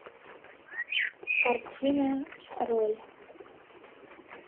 картина роль